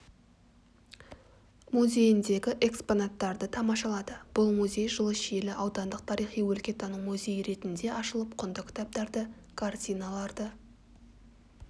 музейіндегі экспонаттарды тамашалады бұл музей жылы шиелі аудандық тарихи-өлкетану музейі ретінде ашылып құнды кітаптарды картиналарды